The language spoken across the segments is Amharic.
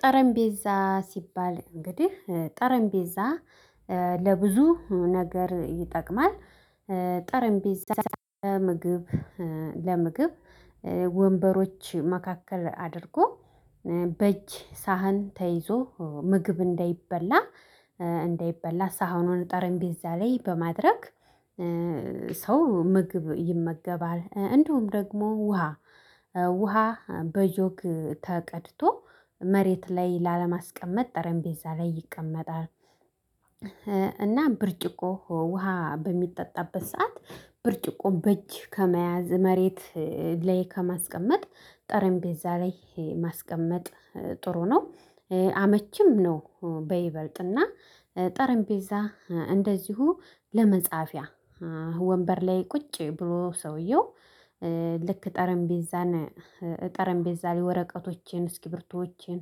ጠረጴዛ ሲባል እንግዲህ ጠረጴዛ ለብዙ ነገር ይጠቅማል። ጠረጴዛ ለምግብ ለምግብ ወንበሮች መካከል አድርጎ በእጅ ሳህን ተይዞ ምግብ እንዳይበላ ሳህኑን ጠረጴዛ ላይ በማድረግ። ሰው ምግብ ይመገባል እንዲሁም ደግሞ ውሃ ውሃ በጆግ ተቀድቶ መሬት ላይ ላለማስቀመጥ ጠረጴዛ ላይ ይቀመጣል። እና ብርጭቆ ውሃ በሚጠጣበት ሰዓት ብርጭቆ በእጅ ከመያዝ መሬት ላይ ከማስቀመጥ ጠረጴዛ ላይ ይሄ ማስቀመጥ ጥሩ ነው አመችም ነው። በይበልጥና ጠረጴዛ እንደዚሁ ለመጻፊያ ወንበር ላይ ቁጭ ብሎ ሰውየው። ልክ ጠረጴዛ ጠረጴዛ ላይ ወረቀቶችን እስኪ ብርቶዎችን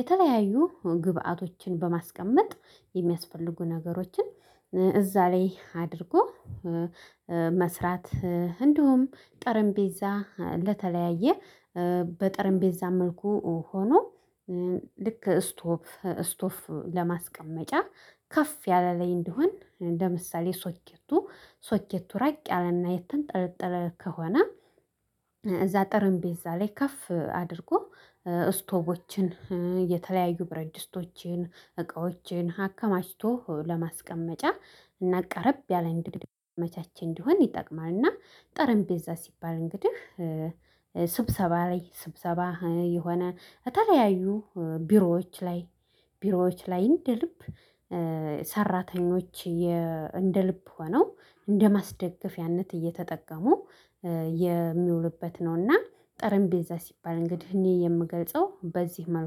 የተለያዩ ግብአቶችን በማስቀመጥ የሚያስፈልጉ ነገሮችን እዛ ላይ አድርጎ። መስራት እንዲሁም ጠረጴዛ ለተለያየ በጠረጴዛ መልኩ ሆኖ። ልክ ስቶፍ ስቶፍ ለማስቀመጫ ከፍ ያለ ላይ እንዲሆን እንደ ምሳሌ ሶኬቱ ሶኬቱ ራቅ ያለና የተንጠለጠለ ከሆነ። እዛ ጠረጴዛ ላይ ከፍ አድርጎ እስቶቦችን የተለያዩ ብረት ድስቶችን እቃዎችን አከማችቶ ለማስቀመጫ እና ቀረብ ያለ መቻች እንዲሆን ይጠቅማል። እና ጠረጴዛ ሲባል እንግዲህ ስብሰባ ላይ ስብሰባ የሆነ የተለያዩ ቢሮዎች ላይ ቢሮዎች ላይ እንደ ልብ ሰራተኞች እንደ ልብ ሆነው እንደ ማስደገፍያነት እየተጠቀሙ የሚውሉበት ነውና። ጠረጴዛ ሲባል እንግዲህ እኔ የምገልጸው በዚህ መልኩ